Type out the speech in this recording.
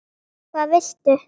hvað viltu?